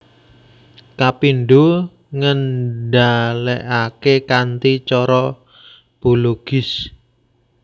Kapindho ngendhalèkaké kanthi cara bologis